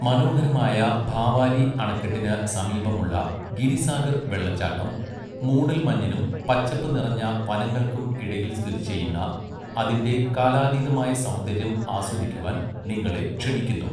മനോഹരമായ ഭാവാലി അണക്കെട്ടിന് സമീപമുള്ള ഗിരിസാഗർ വെള്ളച്ചാട്ടം മൂടൽമഞ്ഞിനും പച്ചപ്പ് നിറഞ്ഞ വനങ്ങൾക്കും ഇടയിൽ സ്ഥിതിചെയ്യുന്ന അതിൻ്റെ കാലാതീതമായ സൗന്ദര്യം ആസ്വദിക്കുവാൻ നിങ്ങളെ ക്ഷണിക്കുന്നു.